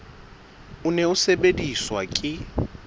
o ne o sebediswa ke